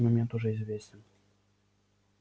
этот момент уже известен